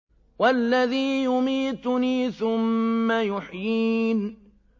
وَالَّذِي يُمِيتُنِي ثُمَّ يُحْيِينِ